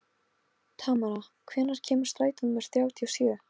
Tamara, hvenær kemur strætó númer þrjátíu og sjö?